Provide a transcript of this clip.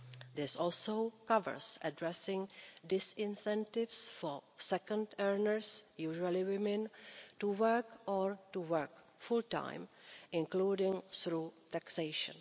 This also covers addressing disincentives for second earners, usually women, to work or to work full time, including through taxation.